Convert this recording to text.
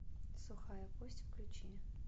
сухая кость включи